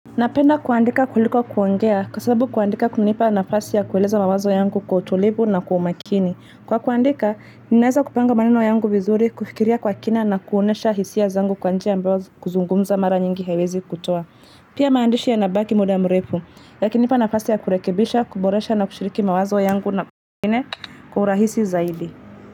Napenda kuandika kuliko kuongea kwa sababu kuandika kunanipa nafasi ya kueleza mawazo yangu kwa utulivu na kwa umakini. Kwa kuandika, ninaweza kupanga maneno yangu vizuri, kufikiria kwa kina na kuonesha hisia zangu kwa njia ambayo kuzungumza mara nyingi haiwezi kutoa. Pia maandishi ya nabaki muda mrefu, yakinipa nafasi ya kurekebisha, kuboresha na kushiriki mawazo yangu na mwingine kwa urahisi zaidi.